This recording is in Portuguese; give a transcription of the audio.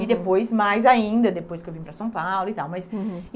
E depois, mais ainda, depois que eu vim para São Paulo e tal mas.